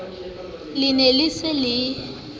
le ne le se le